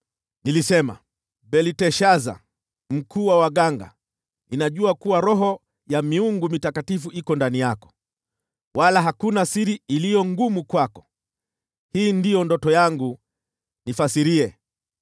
Nilisema, “Belteshaza, mkuu wa waganga, ninajua kuwa roho ya miungu mitakatifu iko ndani yako, wala hakuna siri iliyo ngumu kwako. Hii ndiyo ndoto yangu, nifasirie.